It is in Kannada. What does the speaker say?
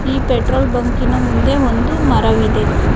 ಈ ಪೆಟ್ರೋಲ್ ಬಂಕಿನ ಮುಂದೆ ಒಂದು ಮರವಿದೆ.